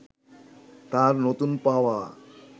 তাঁর নতুন-পাওয়া